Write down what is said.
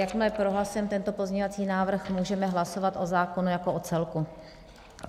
Jakmile prohlasujeme tento pozměňovací návrh, můžeme hlasovat o zákonu jako o celku.